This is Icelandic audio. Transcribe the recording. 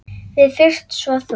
Við fyrst, svo þú.